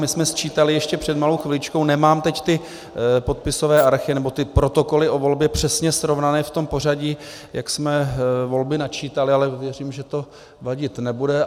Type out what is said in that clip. My jsme sčítali ještě před malou chviličkou, nemám teď ty podpisové archy nebo ty protokoly o volbě přesně srovnané v tom pořadí, jak jsme volby načítali, ale věřím, že to vadit nebude.